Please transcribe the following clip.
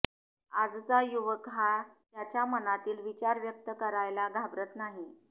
आजचा युवक हा त्याच्या मनातील विचार व्यक्त करायला घाबरत नाही